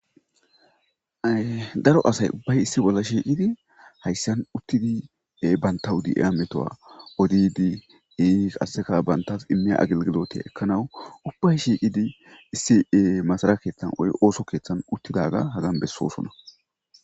Ee daro asay ubbay issi bolla shiiqidi hayssan uttidi banttaw de7iya metuwa odiiddi ii qasseka banttas immiya agelgilootiya ekkanaw ubbay shiiqidi issi ii masara keettan woy ooso keettan uttidaaga hagan bessosona